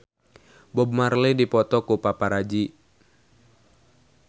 Bob Marley dipoto ku paparazi